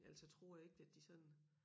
Ellers så tror jeg ikke at de sådan